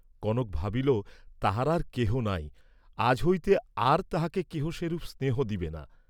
কনক ভাবিল তাহার আর কেহ নাই, আজ হইতে আর তাহাকে কেহ সেরূপ স্নেহ দিবে না।